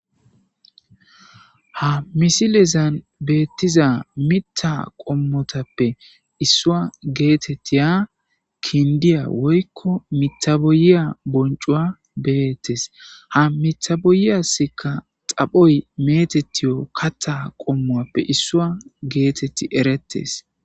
Ha misilezan beettiza mitta qommotappe issua geetettiya kindiya woykko mithaboyiya boncuwa beettes ha mithaboyiyasikka xaphoy meetettiyo katta qommuappe issua geetetti erettes.